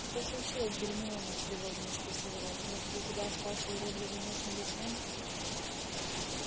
что случилось гермиона встревоженно спросил рон может у тебя остался уродливый нос милисенты